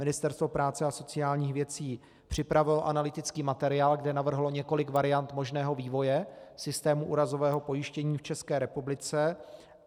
Ministerstvo práce a sociálních věcí připravilo analytický materiál, kde navrhlo několik variant možného vývoje systému úrazového pojištění v České republice.